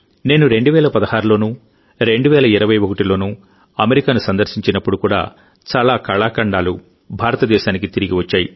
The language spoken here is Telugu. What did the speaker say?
నేను 2016లోనూ 2021లోనూ అమెరికాను సందర్శించినప్పుడు కూడా చాలా కళాఖండాలు భారతదేశానికి తిరిగి వచ్చాయి